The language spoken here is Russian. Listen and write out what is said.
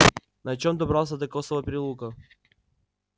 на чем добрался до косого переулка